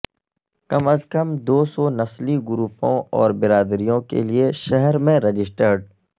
کم از کم دو سو نسلی گروپوں اور برادریوں کے لیے شہر میں رجسٹرڈ